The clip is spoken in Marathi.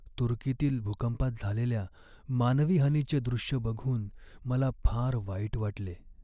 तुर्कीतील भूकंपात झालेल्या मानवी हानीचे दृश्य बघून मला फार वाईट वाटले.